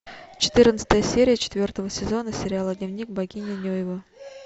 четырнадцатая серия четвертого сезона сериала дневник богини нюйвы